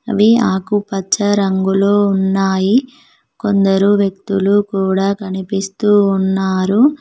అవి ఆకుపచ్చ రంగులో ఉన్నాయి కొందరు వ్యక్తులు కూడా కనిపిస్తూ ఉన్నారు.